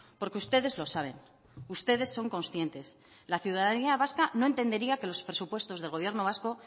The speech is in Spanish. porque ustedes lo saben ustedes son conscientes la ciudadanía vasca no entendería que los presupuestos del gobierno vasco